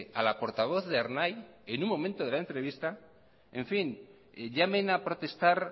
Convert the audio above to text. a la portavoz de ernai en un momento de la entrevista en fin llamen a protestar